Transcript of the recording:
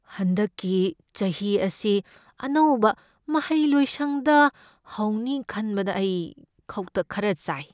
ꯍꯟꯗꯛꯀꯤ ꯆꯥꯍꯤ ꯑꯁꯤ ꯑꯅꯧꯕ ꯃꯍꯩꯂꯣꯏꯁꯪꯗ ꯍꯧꯅꯤ ꯈꯟꯕꯗ ꯑꯩ ꯈꯧꯇꯛ ꯈꯔ ꯆꯥꯏ꯫